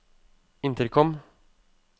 intercom